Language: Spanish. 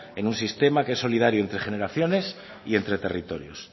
en un sistema que es solidario entre generaciones y entre territorios